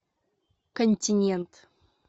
континент